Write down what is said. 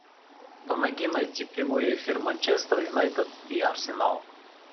помоги найти прямой эфир манчестер юнайтед и арсенал